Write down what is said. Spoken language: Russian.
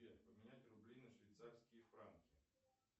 сбер поменять рубли на швейцарские франки